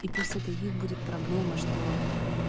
и пусть это их будет проблема что